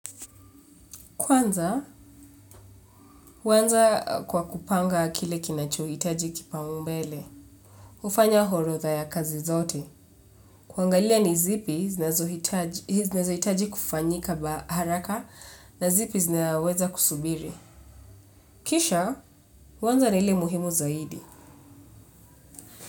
Kwanza, huanza kwa kupanga kile kinachohitaji kipaumbele. Hufanya orodha ya kazi zote. Kuangalia ni zipi, zinazohitaji kufanyika haraka na zipi zinaweza kusubiri. Kisha, huanza na ile muhimu zaidi.